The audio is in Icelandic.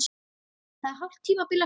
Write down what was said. Það er hálft tímabil eftir!